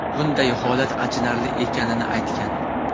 bunday holat achinarli ekanini aytgan.